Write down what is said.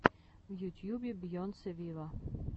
в ютьюбе бейонсе виво